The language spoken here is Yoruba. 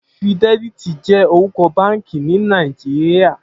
Fidèlítì jè órúkò bànkí ni Nàijíá